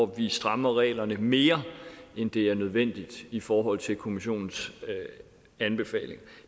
vi strammer reglerne mere end det er nødvendigt i forhold til kommissionens anbefaling